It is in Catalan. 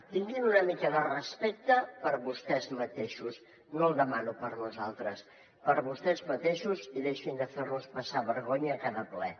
tinguin una mica de respecte per a vostès mateixos no el demano per a nosaltres per a vostès mateixos i deixin de fer nos passar vergonya a cada ple